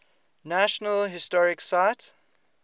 national historic site